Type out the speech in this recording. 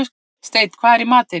Steinn, hvað er í matinn?